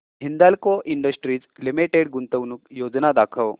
Hindalco industries limited गुंतवणूक योजना दाखव